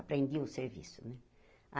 Aprendi o serviço né.